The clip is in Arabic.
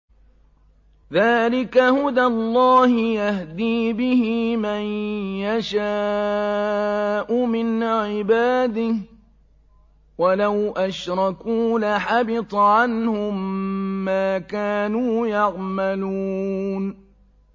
ذَٰلِكَ هُدَى اللَّهِ يَهْدِي بِهِ مَن يَشَاءُ مِنْ عِبَادِهِ ۚ وَلَوْ أَشْرَكُوا لَحَبِطَ عَنْهُم مَّا كَانُوا يَعْمَلُونَ